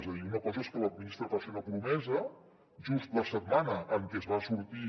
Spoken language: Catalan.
és a dir una cosa és que la ministra faci una promesa just la setmana en què es va sortir